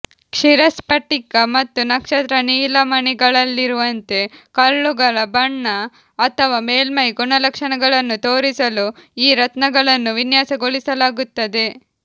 ಕ್ಷೀರಸ್ಫಟಿಕ ಮತ್ತು ನಕ್ಷತ್ರ ನೀಲಮಣಿಗಳಲ್ಲಿರುವಂತೆ ಕಲ್ಲುಗಳ ಬಣ್ಣ ಅಥವಾ ಮೇಲ್ಮೈ ಗುಣಲಕ್ಷಣಗಳನ್ನು ತೋರಿಸಲು ಈ ರತ್ನಗಳನ್ನು ವಿನ್ಯಾಸಗೊಳಿಸಲಾಗುತ್ತದೆ